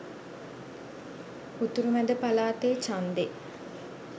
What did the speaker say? උතුරු මැද පලාතේ ඡන්දෙ